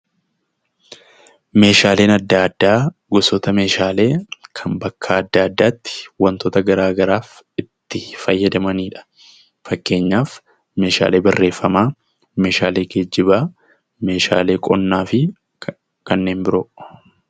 Meeshaaleen adda addaa gosoota meeshaalee kan bakka adda addaatti wantoota garaa garaaf itti fayyadamanidha. Fakkeenyaaf: meeshaalee barreeffamaa, meeshaalee geejibaa, meeshaalee qonnaa fi kanneen biroodha.